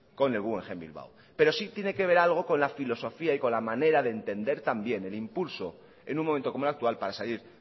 con el guggenheim bilbao pero sí tiene que ver algo con la filosofía y la manera de entender también el impulso en un momento como el actual para salir